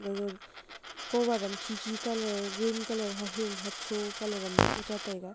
gaga cover am khi khi ka colour green colour ahing hocho colour am boh ka cha taiga.